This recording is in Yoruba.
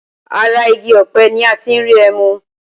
Ara igi ọpẹ ni a ti ń rí ẹmu